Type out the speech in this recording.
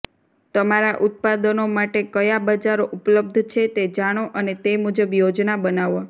તમારા ઉત્પાદનો માટે કયા બજારો ઉપલબ્ધ છે તે જાણો અને તે મુજબ યોજના બનાવો